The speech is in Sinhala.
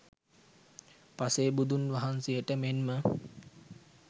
පසේ බුදුන් වහන්සේට මෙන්ම